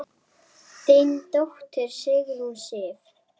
Þín dóttir, Sigrún Sif.